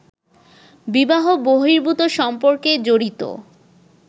বিবাহ-বহির্ভূত সম্পর্কে জড়িত